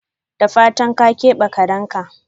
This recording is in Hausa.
Da fatan ka kebe karinka?